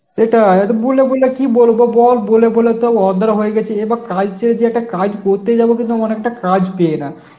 সেটাই এখন বলে বলে কি বলবো বল বলে বলে তো অদেরও হয়ে গেছি, এবার কাজ ছেড়ে যে একটা কাজ করতে যাব তো তেমন একটা কাজ পেয়ে না